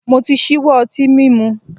Mo ti ṣíwọ́ ọtín mímu.